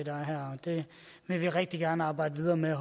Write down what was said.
er her det vil vi rigtig gerne arbejde videre med